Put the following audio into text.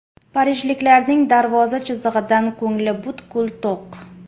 Parijliklarning darvoza chizig‘idan ko‘ngli butkul to‘q.